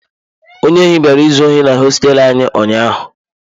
Onye ohi bịara izu ohi na hosteelu anyị ụnyahụ.